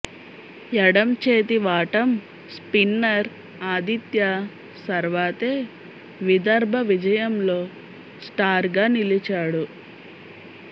ఎడం చేతి వాటం స్పిన్నర్ ఆదిత్య సర్వాతే విదర్భ విజయంలో స్టార్గా నిలిచాడు